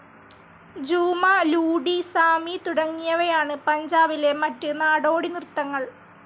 ജൂമാ, ലൂഡി, സാമി തുടങ്ങിയവയാണ് പഞ്ചാബിലെ മറ്റു നാടോടിനിർത്തങ്ങൾ